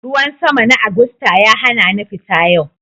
Ruwan sama na Agusta ya hana ni fita yau